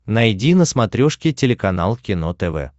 найди на смотрешке телеканал кино тв